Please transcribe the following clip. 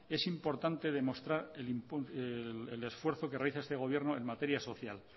es importante demostrar el esfuerzo que realiza este gobierno en materia social